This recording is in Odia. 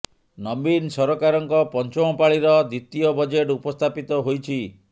ନବୀନ ସରକାରଙ୍କ ପଞ୍ଚମ ପାଳିର ଦ୍ୱିତୀୟ ବଜେଟ୍ ଉପସ୍ଥାପିତ ହୋଇଛି